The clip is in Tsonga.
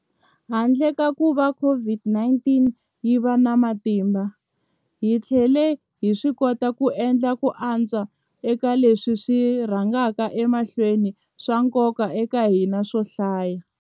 Handle ka kuva COVID-19 yi va na matimba, hi tlhele hi swikota ku endla ku antswa eka leswi swi rhangaka emahlweni swa nkoka eka hina swo hlaya.